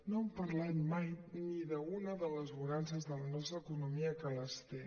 no han parlat mai ni d’una de les bonances de la nostra economia que les té